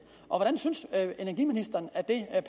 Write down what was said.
hvordan synes energiministeren det